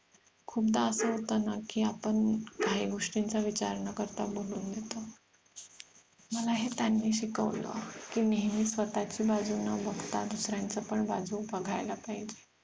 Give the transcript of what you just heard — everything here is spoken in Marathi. खूपदा आपण त्यांना की आपण काही गोष्टींचा विचार न करता बोलून देतो. मला हे त्यांनी शिकवलं की नेहमी स्वतःची बाजू न बघता दुसऱ्यानंच पण बाजू बघायला पाहिजे